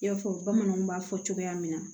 I y'a fɔ bamananw b'a fɔ cogoya min na